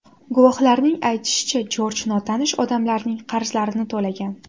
Guvohlarning aytishicha, Jorj notanish odamlarning qarzlarini to‘lagan.